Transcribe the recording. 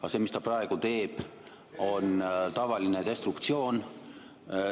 Aga see, mis ta praegu teeb, on tavaline destruktsioon.